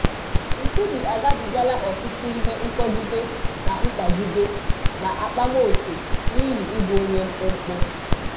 Nkubi agabigala ọtụtụ ihe nkọgide na mkpagịde na akpamoke n'ihi ịbụ onye mkpụmkpụ